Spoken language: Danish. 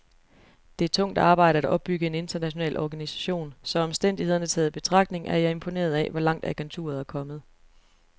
Det er tungt arbejde at opbygge en international organisation, så omstændighederne taget i betragtning er jeg imponeret af, hvor langt agenturet er kommet.